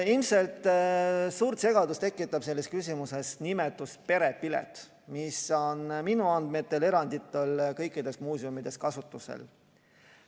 Ilmselt suurt segadust tekitab selles küsimuses nimetus "perepilet", mis on minu andmetel eranditult kõikides muuseumides kasutusel.